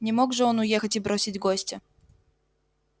не мог же он уехать и бросить гостя